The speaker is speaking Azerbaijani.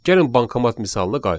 Gəlin bankomat misalına qayıdaq.